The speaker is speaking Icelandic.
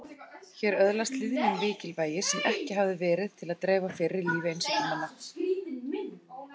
Hér öðlaðist hlýðni mikilvægi sem ekki hafði verið til að dreifa fyrr í lífi einsetumanna.